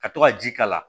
Ka to ka ji k'a la